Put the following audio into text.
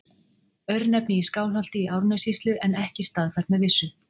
Örnefni í Skálholti í Árnessýslu en ekki staðfært með vissu.